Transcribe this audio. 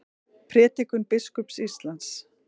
Prédikun biskups Íslands